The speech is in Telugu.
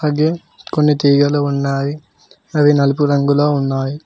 గే కొన్ని తీగలు ఉన్నావి అవి నలుపు రంగులో ఉన్నాయి.